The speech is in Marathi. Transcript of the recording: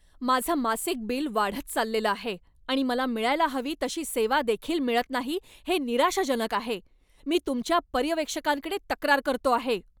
माझं मासिक बिल वाढत चाललेलं आहे आणि मला मिळायला हवी तशी सेवादेखील मिळत नाही हे निराशाजनक आहे. मी तुमच्या पर्यवेक्षकांकडे तक्रार करतो आहे.